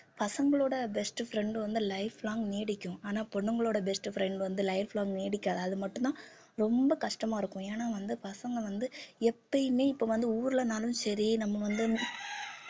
பசங்களோட best friend வந்து life long நீடிக்கும் ஆனா பொண்ணுங்களோட best friend வந்து life long நீடிக்காது அது மட்டும்தான் ரொம்ப கஷ்டமா இருக்கும் ஏன்னா வந்து பசங்க வந்து எப்பயுமே இப்ப வந்து ஊர்லன்னாலும் சரி நம்ம வந்து